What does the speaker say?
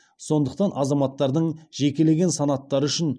сондықтан азаматтардың жекелеген санаттары үшін